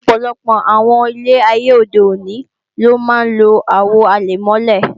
Ọ̀pọ̀lọpọ̀ àwọn ilé ayé òde òní ló máa ń lo Àwo àlẹ̀mọ́lẹ̀